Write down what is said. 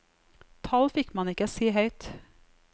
Tall fikk man ikke si høyt.